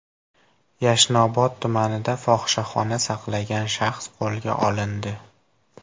Yashnobod tumanida fohishaxona saqlagan shaxs qo‘lga olindi.